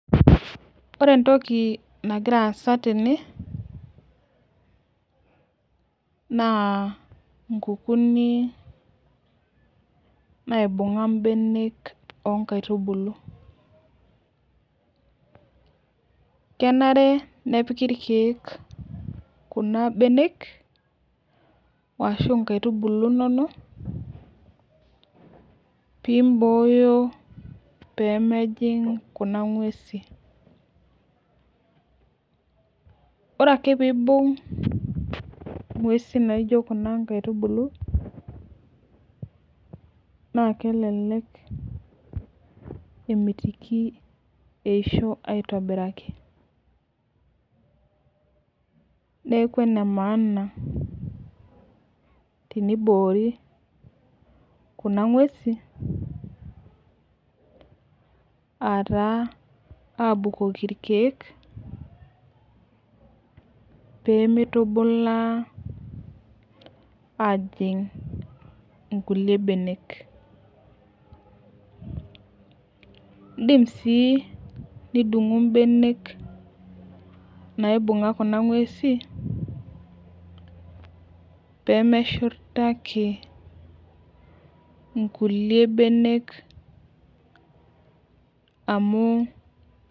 Ore entoki nagira aasa tene naa nkukunik naibunga mbenek onkaituulu .Kenare nepiki olchani kuna imbenek ashu nkaitubulu inonok pimboyo pemejing kuna ngwesin . Ore ake pibung ingwesi naijo kuna nkaitubulu naa kelelek emitiki eisho aitobiraki .Neku enemaana tenioori kuna ngwesin ataa abukoki irkiek pemitubulaa ajing nkulie benek. Indim sii nidungu imbenek naibunga kuna ngwesin pemeshurtaki nkulie benek amu ..